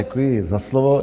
Děkuji za slovo.